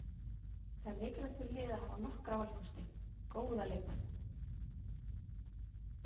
Það er mikilvægt fyrir liðið að hafa nokkra valkosti, góða leikmenn.